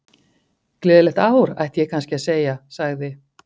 Gleðilegt ár, ætti ég kannski að segja- sagði